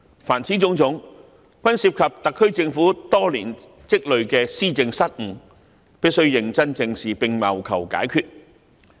凡此種種均涉及特區政府多年積累的施政失誤，必須認真正視並謀求解決。